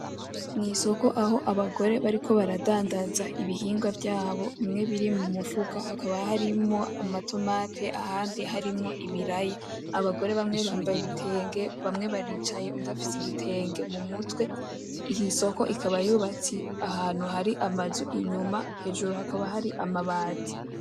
Mwisoko aho abagore bariko baradandaza ibihingwa vyabo bimwe biri mu mifuka hakaba harimwo ama tomate ahandi harimwo ibiraya abagore bamwe bambaye ibitenge bamwe baricaye uwundi afise igitenge mumutwe isoko iba yubatse ahantu hari amazu inyuma hejuru hakaba hari amabati .